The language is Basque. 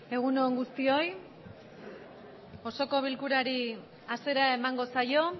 egunon guztioi iosoko bilkurari hasiera emangosaio